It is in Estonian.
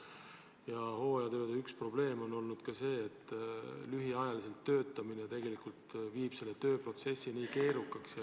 Ja hooajatööde üks probleem on olnud ka see, et lühiajaliselt töötamine tegelikult teeb selle vormistamisprotsessi ülimalt keerukaks.